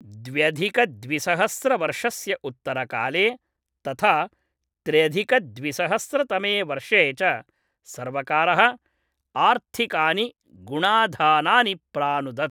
द्व्यधिकद्विसहस्रवर्षस्य उत्तरकाले तथा त्र्यधिकद्विसहस्रतमे वर्षे च सर्वकारः आर्थिकानि गुणाधानानि प्रानुदत्।